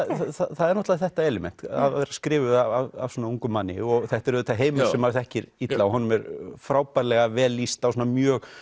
það er náttúrulega þetta element að vera skrifuð af svona ungum manni þetta er auðvitað heimur sem maður þekkir illa og honum er frábærlega vel lýst á svona mjög